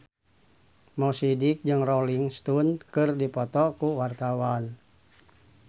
Mo Sidik jeung Rolling Stone keur dipoto ku wartawan